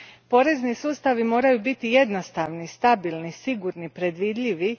Porezni sustavi moraju biti jednostavni, stabilni, sigurni predvidljivi.